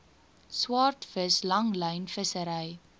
swaardvis langlyn vissery